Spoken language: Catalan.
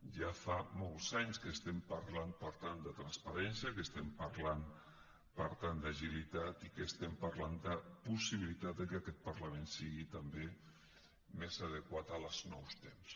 ja fa molts anys que estem parlant per tant de transparència que estem parlant per tant d’agilitat i que estem parlant de possibilitat que aquest parlament sigui també més adequat als nous temps